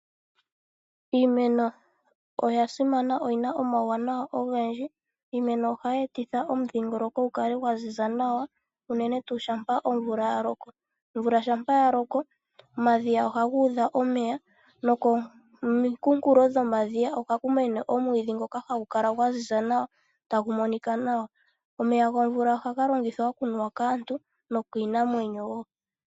Iimeno oyasimana oyina omauwanawa ogendji iimeno ohayi etidha omudhigoloko gu kale gwa ziza nawa uunene tu shampa omvula yaloko, omvula shampa yaloko omadhiya ohagu dha omeya no ko mikunkulo dho madhiya ohaku mene omwidhi ngoka hagu kala gwaziza nawa tagu monika nawa, omeya gomvula ohaga longithwa okunuwa kaantu no kiinamwenyo woo.